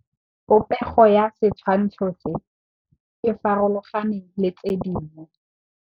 Popêgo ya setshwantshô se, e farologane le tse dingwe.